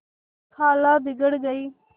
खाला बिगड़ गयीं